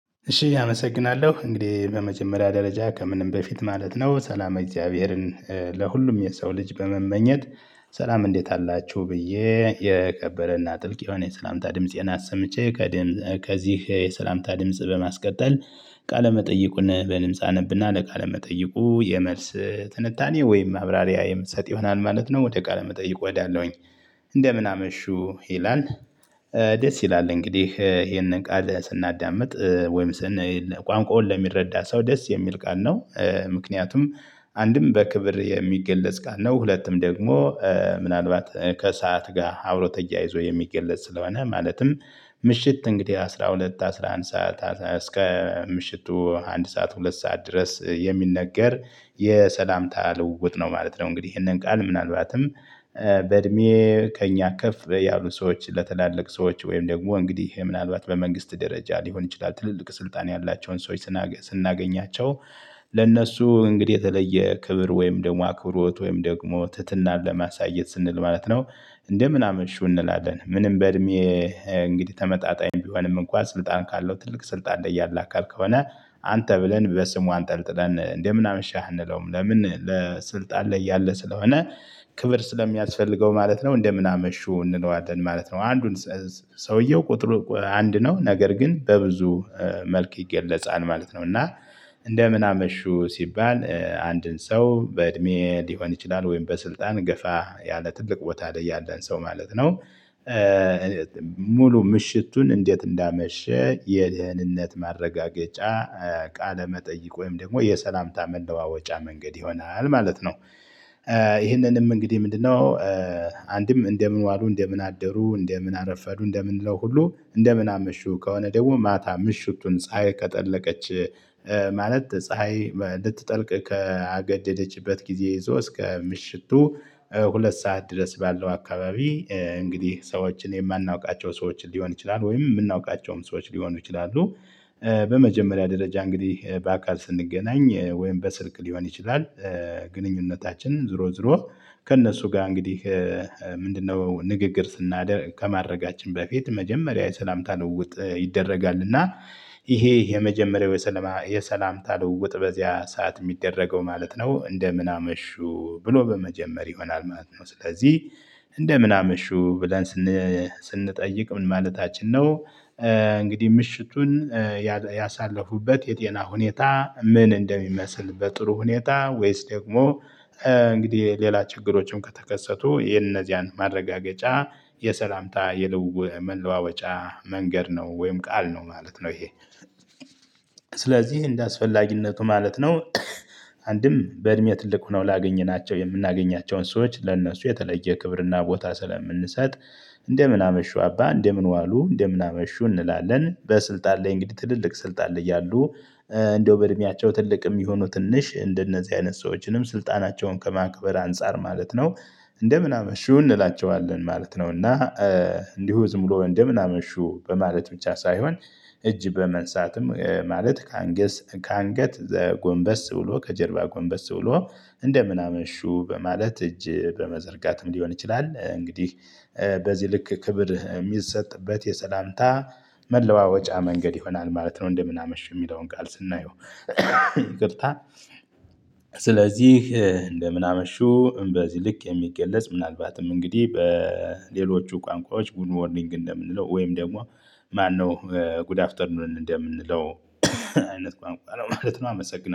እሺ አመሰግናለሁ እንግዲህ በመጀመሪያ ደረጃ ከምንም በፊት ማለት ነው ሰላም እግዚአብሔርን ለሁሉም የሰው ልጅ በመመኘት። ሰላም እንዴት አላችሁ ብዬ የከበረና ጥልቅ የሆነ የሰላምታ ድምፄን አሰምቼ ከደም ከዚህ የሰላምታ ድምጽ በማስቀጠል ቃለመጠይቁን በድምጽ አነብና ለቃለመጠይቁ የመልስ ትንታኔ ወይም ማብራሪያ የምሰጥ ይሆናል ማለት ነው። ወደ ቃለ መጠይቁ እሄዳለሁኝ። እንደምን አመሹው ይላል። ደስ ይላል እንግዲህ ይሄንን ቃል ስናዳምጥ ወይም ስናይ ቋንቋውን ለሚረዳ ሰው ደስ የሚል ቃል ነው። ምክንያቱም አንድም በክብር የሚገለጽ ቃል ነው። ሁለቱም ደግሞ ምናልባት ከሰአት ጋ አብሮ ተያይዞ የሚገለጽ ስለሆነ ማለትም ምሽት እንግዲህ አስራ ሁለት አስራ አንድ ሰዓት እስከ ምሽቱ አንድ ሰዓት ሁለት ሰዓት ድረስ የሚነገር የሰላምታ ልውውጥ ነው ማለት ነው። እንግዲህ ይሄንን ቃል ምናልባትም በእድሜ ከእኛ ከፍ ያሉ ሰዎች ለትላለቅ ሰዎች ወይም ደግሞ እንግዲህ ምናልባት በመንግስት ደረጃ ሊሆን ይችላል ትልልቅ ስልጣን ያላቸውን ሰዎች። ስናገኛቸው ለእነሱ እንግዲህ የተለየ ክብር ወይም ደግሞ አክብሮት ወይም ደግሞ ትህትናን ለማሳየት ስንል ማለት ነው። እንደምን አመሹ እንላለን። ምንም በእድሜ እንግዲህ ተመጣጣኝ ቢሆንም እንኳን ስልጣን ካለው ትልቅ ስልጣን ያለ አካል ከሆነ። አንተ ብለን በስሙ አንጠልጥለን እንደምን አመሽህ አንለውም ለምን ለስልጣን ላይ ያለ ስለሆነ ክብር ስለሚያስፈልገው ማለት ነው። እንደምን አመሹ እንለዋለን ማለት ነው። አንዱን ሰውየው ቁጥር አንድ ነው ነገር ግን በብዙ መልክ ይገለጻል ማለት ነው። እና እንደምን አመሹ ሲባል አንድን ሰው በእድሜ ሊሆን ይችላል ወይም በስልጣን ገፋ ያለ ትልቅ ቦታ ላይ ያለን ሰው ማለት ነው። ምሽቱን እንዴት እንዳመሸ የደህንነት ማረጋገጫ ቃለመጠይቅ ወይም ደግሞ የሰላምታ መለዋወጫ መንገድ ይሆናል ማለት ነው። ይህንንም እንግዲህ ምንድነው? አንድም እንደምን ዋሉ እንደምን አደሩ እንደምን አረፈዱ እንደምንለው ሁሉ እንደምን አመሹ ከሆነ ደግሞ ማታ ምሽቱን ፀሀይ ከጠለቀች። ማለት ፀሀይ ልትጠልቅ ካገደደችበት ጊዜ ይዞ እስከ ምሽቱ ሁለት ሰዓት ድረስ ባለው አካባቢ እንግዲህ ሰዎችን የማናውቃቸው ሰዎችን ሊሆን ይችላል ወይም እምናውቃቸውም ሰዎች ሊሆኑ ይችላሉ። በመጀመሪያ ደረጃ እንግዲህ በአካል ስንገናኝ ወይም በስልክ ሊሆን ይችላል። ግንኙነታችን ዞሮ ዞሮ ከእነሱ ጋ እንግዲህ ምንድነው ንግግር ስናደር ከማድረጋችን በፊት መጀመሪያ የሰላምታ ለዉውጥ ይደረጋል። እና ይሄ የመጀመሪያው የሰላም የሰላምታ ለውጥ በዚያ ሰዓት የሚደረገው ማለት ነው እንደምን አመሹ ብሎ በመጀመር ይሆናል ማለት ነው። ስለዚህ እንደምን አመሹ ብለን ስንጠይቅ ምን ማለታችን ነው። እንግዲህ ምሽቱን ያሳለፉበትን የጤና ሁኔታ ምን እንደሚመስል በጥሩ ሁኔታ ወይስ ደግሞ እንግዲህ ሌላ ችግሮችም ከተከሰቱ የነዚያን ማረጋገጫ የሰላምታ የልው መለዋወጫ መንገድ ነው ወይም ቃል ነው ማለት ነው። ይሄ ስለዚህ እንደ አስፈላጊነቱ ማለት ነው። አንድም በእድሜ ትልቅ ሆነው ላገኘናቸው የምናገኛቸውን ሰዎች ለእነሱ የተለየ ክብርና ቦታ ስለምንሰጥ። እንደምን አመሹ አባ እንደምን ዋሉ እንደምን አመሹ እንላለን። በስልጣን ላይ እንግዲህ ትልልቅ ስልጣን ላይ ያሉ እንደው በእድሜያቸው ትልቅ ይሁኑ ትንሽ እንደነዚህ አይነት ሰዎችንም ስልጣናቸውን ከማክበር አንፃር ማለት ነው። እንደምን አመሹ እንላቸዋለን ማለት ነው። እና እንዲሁ ዝም ብሎ እንደምን አመሹ በማለት ብቻ ሳይሆን እጅ በመንሳትም ማለት ከአንገስ ከአንገት ጎንበስ ብሎ ከጀርባ ጎንበስ ብሎ እንደምን አመሹ በማለት እጅ በመዘርጋትም ሊሆን ይችላል። እንግዲህ በዚህ ልክ ክብር እሚሰጥበት የሰላምታ መለዋወጫ መንገድ ይሆናል ማለት ነው። እንደምን አመሽ የሚለውን ቃል ስናየው ይቅርታ ስለዚህ እንደምን አመሹ በዚህ ልክ የሚገለጽ ምናልባትም እንግዲህ በሌሎቹ ቋንቋዎች ጉድ ሞርኒንግ እንደምንለው ወይም ደግሞ ማነው ጉድ አፍተርኑን እንደምንለው አይነት ቋንቋ ማለት ነው። አመሰግናለሁ